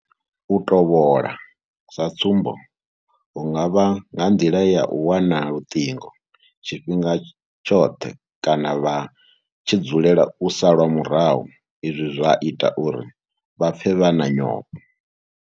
U tovhola sa tsumbo hu nga vha nga nḓila ya u wana luṱingo tshifhinga tshoṱhe kana vha tshi dzulela u salwa murahu izwi zwa ita uri vha pfe vha na nyofho.